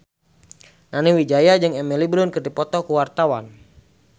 Nani Wijaya jeung Emily Blunt keur dipoto ku wartawan